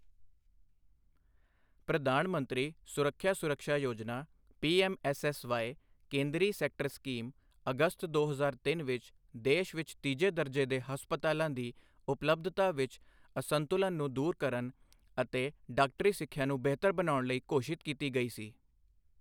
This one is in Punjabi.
ਪ੍ਰਧਾਨ ਮੰਤਰੀ ਸਵਾਸਥਯ ਸੁੱਰਖਿਆ ਸੁਰਕ੍ਸ਼ਾ ਯੋਜਨਾ ਪੀਐੱਮਐੱਸਐਸ ਵਾਈ, ਕੇਂਦਰੀ ਸੈਕਟਰ ਸਕੀਮ, ਅਗਸਤ ਦੋ ਹਜ਼ਾਰ ਤਿੰਨ ਵਿਚ ਦੇਸ਼ ਵਿਚ ਤੀਜੇ ਦਰਜੇ ਦੇ ਹਸਪਤਾਲਾਂ ਦੀ ਉਪਲਬਧਤਾ ਵਿਚ ਅਸੰਤੁਲਨ ਨੂੰ ਦੂਰ ਕਰਨ ਅਤੇ ਡਾਕਟਰੀ ਸਿੱਖਿਆ ਨੂੰ ਬਿਹਤਰ ਬਣਾਉਣ ਲਈ ਘੋਸ਼ਿਤ ਕੀਤੀ ਗਈ ਸੀ।